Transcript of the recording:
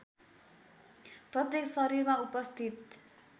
प्रत्येक शरीरमा उपस्थित